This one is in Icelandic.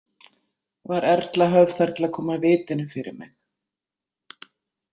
Var Erla höfð þar til að koma vitinu fyrir mig.